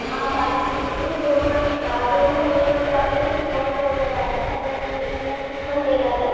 हा five hundred rupees, दोन month आ दोन महिने म्हणजे आपल्याला शिकवणार वगैरे आहे. त्याच्या नंतर इंटर्न शिप पण देणारे.